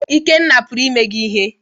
Ikenna puru ime gi ihe?